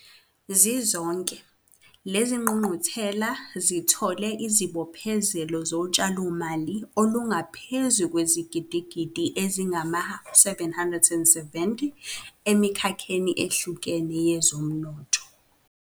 Zizonke, lezi zingqungquthela zithole izibophezelo zotshalomali olungaphezu kwezigidigidi ezingama-R770 emikhakheni ehlukene yezomnotho.